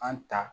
An ta